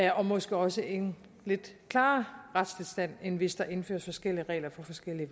og måske også en lidt klarere retstilstand end hvis der indføres forskellige regler på forskellige